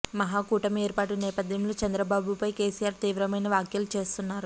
మహా కూటమి ఏర్పాటు నేపథ్యంలో చంద్రబాబుపై కేసిఆర్ తీవ్రమైన వ్యాఖ్యలు చేస్తున్నారు